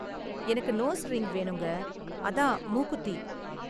எனக்கு nose ring வேணுங்க, அதான் மூக்குத்தி.